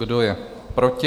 Kdo je proti?